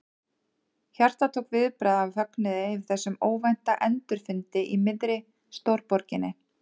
Hjartað tók viðbragð af fögnuði yfir þessum óvænta endurfundi í miðri stórborginni.